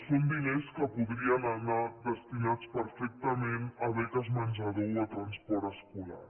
són diners que podrien anar destinats perfectament a beques menjador o a transport escolar